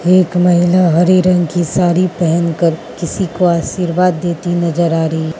एक महिला हरे रंग की साड़ी पहनकर किसी को आशीर्वाद देती नजर आ रही --